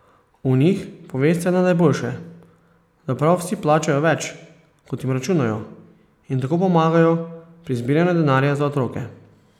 O njih povesta le najboljše, da prav vsi plačajo več, kot jim računajo, in tako pomagajo pri zbiranju denarja za otroke.